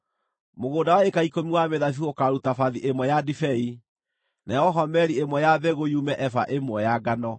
Mũgũnda wa ĩĩka ikũmi wa mĩthabibũ ũkaaruta bathi ĩmwe ya ndibei, nayo homeri ĩmwe ya mbegũ yume eba ĩmwe ya ngano.”